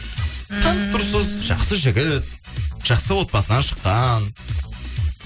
ммм танып тұрсыз жақсы жігіт жақсы отбасынан шыққан